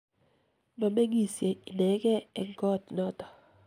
ma meng'isie inegei eng koot noto